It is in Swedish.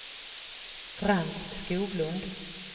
Frans Skoglund